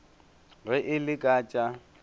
ge e le ka tša